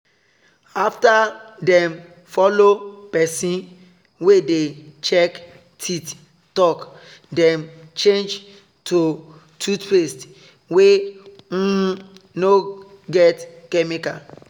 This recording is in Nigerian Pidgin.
after dem follow pesin wey dey check teeth talk dem change to toothpaste wey um no get chemical.